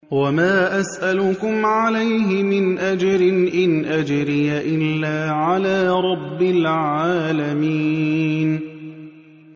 وَمَا أَسْأَلُكُمْ عَلَيْهِ مِنْ أَجْرٍ ۖ إِنْ أَجْرِيَ إِلَّا عَلَىٰ رَبِّ الْعَالَمِينَ